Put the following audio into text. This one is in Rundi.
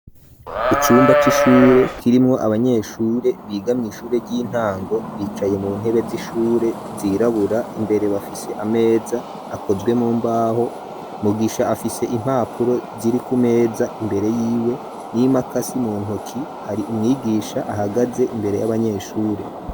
Icumba c'ishure, kirimwo abanyeshure, biga mw'ishure, ry'intango, bicaye mu ntebe z'ishure, zirabura; imbere bafise ameza, akozwe mu mbaho; Mugisha afise impapuro, ziri ku meza, imbere yiwe, n'imakasi mu ntoki; hari umwigisha ahagaze, imbere y'abanyeshure.